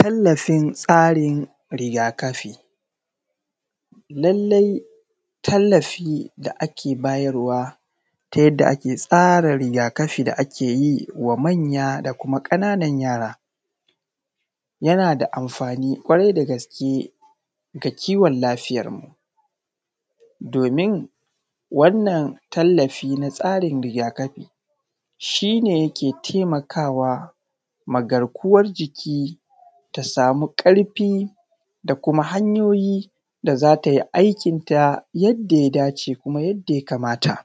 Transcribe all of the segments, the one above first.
Tallafin tsarin rigakafi. Lallai tallafi da ake bayarwa ta yadda ake tsara rigakafi da ake yi wa manya da kuma ƙananan yara yana da amafani ƙwarai da gaske ga kiwon lafiyar mu. Domin wannan tallafi na tsarin rigakafi shi ne yake taimaka wa garkuwan jiki ta samu ƙarfi da kuma hanyoyi da za ta yo aikinta yadda ya dace, kuma yadda ya kamata.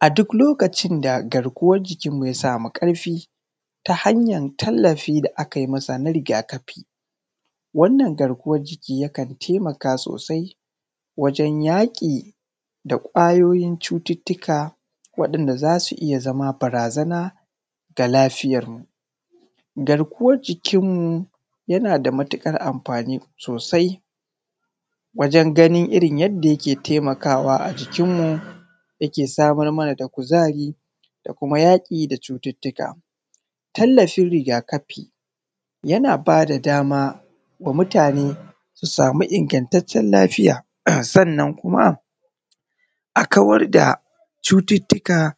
A duk lokacin da garkuwan jikin mu ya samu ƙarfin ta hanyar tallafi da akai masa ta rigakafi, wannan garkuwan jiki yakan taimaka sosai wajan yaƙi da ƙwayoyin cututuka, waɗanda za su iya zama barazana ga lafiyarmu. Garkuwan jikin mu yana da matuƙar amafani sosai wajan ganin irin yadda yake taimakawa a jikin mu, yake samar mana da kuzari da kuma yaƙi da cututuka. Tallafin rigakafi yana ba da dama ga mutane su samu ingantatcen lafiya, sannan kuma a kawar da cututtuka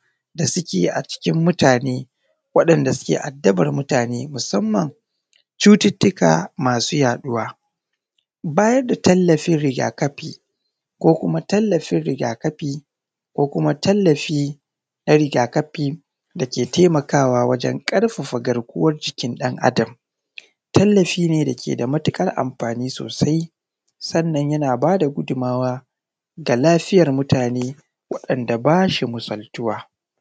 a cikin mutane waɗanda suke addabar mutane musamman cututtuka masu yaɗuwar. Bayar da tallafi rigakafi ko kuma tallafin rigakafi, ko kuma tallafi na rigakafi da ke taimaka wa wajan ƙarfafa garkuwan jikin ɗan Adam. Tallafi ne dake da matuƙar amfani sosai sannan ya na ba da gudunmawa ga lafiyan mutane waɗanda ba shi misaltuwa.